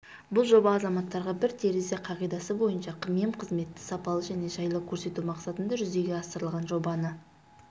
бұл жоба азаматтарға бір терезе қағидасы бойынша мемқызметті сапалы және жайлы көрсету мақсатында жүзеге асырылған жобаны